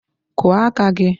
Kụọ aka gị!